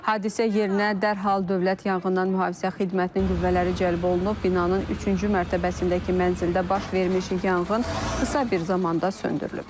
Hadisə yerinə dərhal dövlət yanğından mühafizə xidmətinin qüvvələri cəlb olunub, binanın üçüncü mərtəbəsindəki mənzildə baş vermiş yanğın qısa bir zamanda söndürülüb.